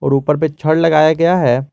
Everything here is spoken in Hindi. और ऊपर पे छड़ लगाया गया है।